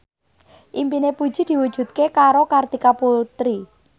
impine Puji diwujudke karo Kartika Putri